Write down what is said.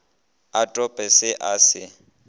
a tope se a se